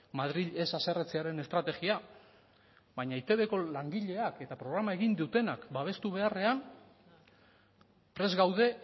madril ez haserretzearen estrategia baina etbko langileak eta programa egin dutenak babestu beharrean prest gaude